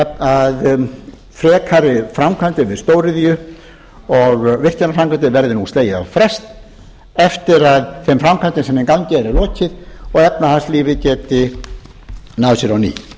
að frekari framkvæmdum við stóriðju og virkjanaframkvæmdum verði nú slegið á frest eftir að þeim framkvæmdum sem í gangi eru er lokið og efnahagslífið geti náð sér á ný frú